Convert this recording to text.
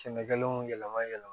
Sɛnɛkɛlaw yɛlɛma yɛlɛma